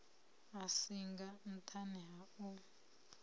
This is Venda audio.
a singa nṱhani ha u